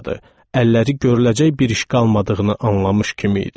Əlləri görüləcək bir iş qalmadığını anlamış kimi idi.